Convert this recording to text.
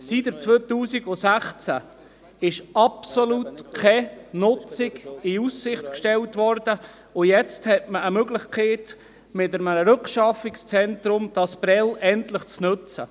Seit 2016 wurde absolut keine Nutzung in Aussicht gestellt, und jetzt hat man mit einem Rückschaffungszentrum die Möglichkeit, Prêles endlich zu nutzen.